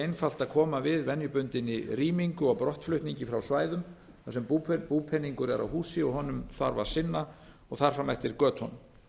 ekki auðvelt að koma við venjubundinni rýmingu og brottflutningi frá svæðum þar sem búpeningur er á húsi og honum þarf að sinna og þar fram eftir götunum